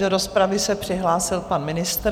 Do rozpravy se přihlásil pan ministr.